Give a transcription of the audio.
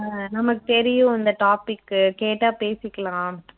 அஹ் நமக்கு தெரியும் இந்த topic உ கேட்டா பேசிக்கலாம்